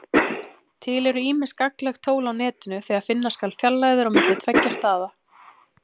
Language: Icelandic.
Til eru ýmis gagnleg tól á Netinu þegar finna skal fjarlægðir á milli tveggja staða.